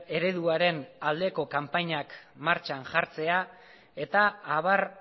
ereduaren aldeko kanpainak martxan jartzea eta abar